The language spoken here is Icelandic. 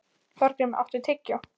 Þorgrímur, áttu tyggjó?